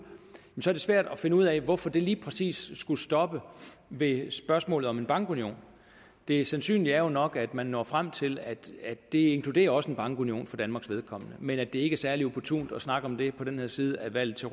så er det svært at finde ud af hvorfor det lige præcis skulle stoppe ved spørgsmålet om en bankunion det sandsynlige er jo nok at man når frem til at det inkluderer også en bankunion for danmarks vedkommende men at det ikke er særlig opportunt at snakke om det på den her side af valget til